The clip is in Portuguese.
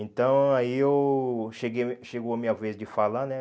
Então, aí eu... Cheguei chegou a minha vez de falar, né?